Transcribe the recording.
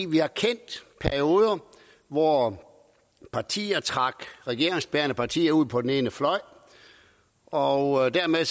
vi har kendt perioder hvor partier trak regeringsbærende partier ud på den ene fløj og dermed